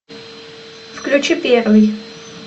включи первый